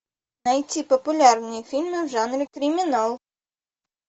найти популярные фильмы в жанре криминал